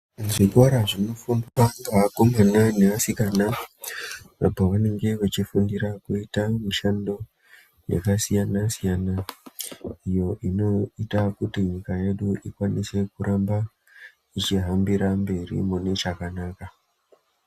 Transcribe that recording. Zvikora zvinofundwa ngeakomana neasikana zvakanaka maningi apo pavanenge vachifundira kuita mabasa emaoko akasiyana siyana iyo inoita kuti Nyika yedu ikwanise kuramba yechihambira mberi mune chakanaka.